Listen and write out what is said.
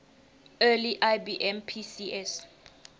early ibm pcs